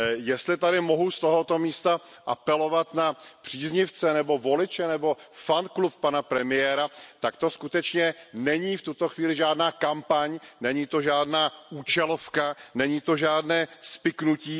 Jestli mohu z tohoto místa apelovat na příznivce nebo voliče nebo fanklub pana premiéra, tak to skutečně není v tuto chvíli žádná kampaň, není to žádná účelovka, není to žádné spiknutí.